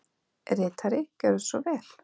Ritari Gjörðu svo vel.